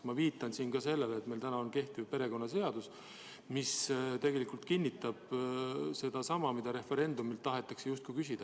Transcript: Ma viitan siin ka sellele, et meil on olemas kehtiv perekonnaseadus, mis tegelikult kinnitab sedasama, mida referendumil tahetakse küsida.